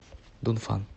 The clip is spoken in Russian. дунфан